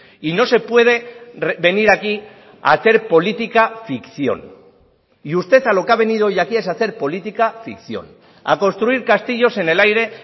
y no se puede venir aquí a hacer política ficción y usted a lo que ha venido hoy aquí es a hacer política ficción a construir castillos en el aire